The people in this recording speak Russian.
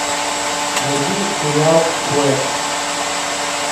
найти сериал флэш